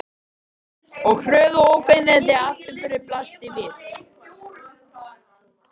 Og hröð og ógnvekjandi afturförin blasti við.